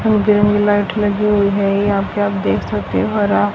बगल में लाइट लगी हुई है यहां पे आप देख सकते हो हरा--